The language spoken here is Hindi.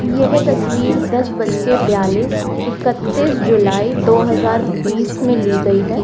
यह तस्वीर दस बजकर बयालीस इकतीस जुलाई दो हजार बीस में ली गई है।